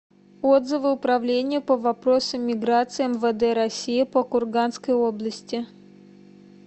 отзывы управление по вопросам миграции мвд россии по курганской области